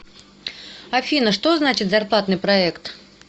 афина что значит зарплатный проект